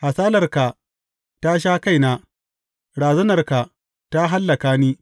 Hasalarka ta sha kaina; razanarka ta hallaka ni.